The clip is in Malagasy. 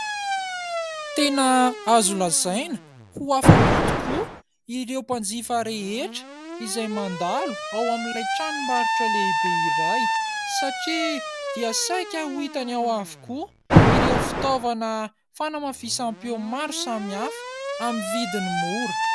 Tena azo lazaina ho afa-po tokoa ireo mpanjifa rehetra izay mandalo ao amin'ilay tranombarotra lehibe iray satria dia saika ho hitany ao avokoa ireo fitaovana fanamafisam-peo maro samihafa amin'ny vidiny mora.